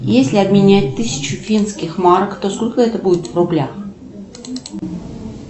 если обменять тысячу финских марок то сколько это будет в рублях